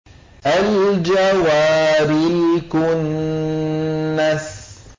الْجَوَارِ الْكُنَّسِ